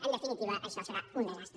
en definitiva això serà un desastre